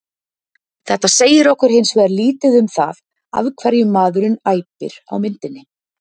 Þetta segir okkur hins vegar lítið um það af hverju maðurinn æpir á myndinni.